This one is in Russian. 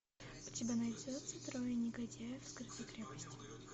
у тебя найдется трое негодяев в скрытой крепости